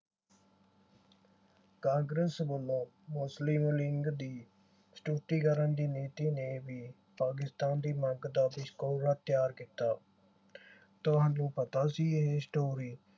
ਕਾਂਗਰਸ ਵਲੋਂ ਮੁਸਲਿਮ ਲੀਗ ਦੀ ਕਰਨ ਦੀ ਨੀਤੀ ਨੇ ਭੀ ਪਾਕਿਸਤਾਨ ਦੀ ਮੰਗ ਦਾ ਤਿਆਰ ਕੀਤਾ। ਤੁਹਾਨੂੰ ਪਤਾ ਸੀ ਇਹ story